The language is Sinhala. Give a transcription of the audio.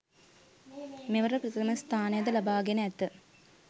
මෙවර ප්‍රථම ස්‌ථානය ද ලබාගෙන ඇත.